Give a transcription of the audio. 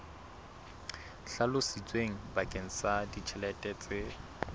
hlalositsweng bakeng sa ditjhelete tse